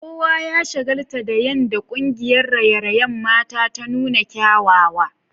Kowa ya shagaltu da yadda kungiyar raye-rayen mata ta nuna kyawawa.